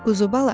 Quzubala!